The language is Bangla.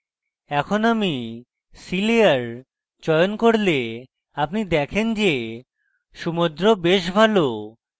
এখন আমি sea layer চয়ন করলে আপনি দেখেন যে সমুদ্র বেশ ভালো